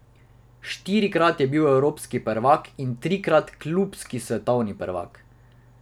Štirikrat je bil evropski prvak in trikrat klubski svetovni prvak.